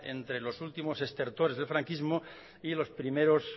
entre los últimos estertores del franquismo y los primeros